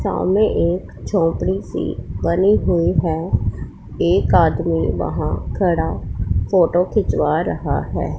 सामने एक झोपड़ी से बनी हुई है। एक आदमी वहां खड़ा फोटो खिंचवा रहा है।